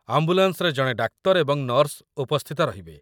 ଆମ୍ବୁଲାନ୍ସରେ ଜଣେ ଡାକ୍ତର ଏବଂ ନର୍ସ ଉପସ୍ଥିତ ରହିବେ।